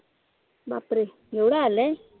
बापरे एवढं आलंय